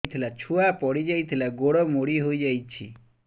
ଛୁଆ ପଡିଯାଇଥିଲା ଗୋଡ ମୋଡ଼ି ହୋଇଯାଇଛି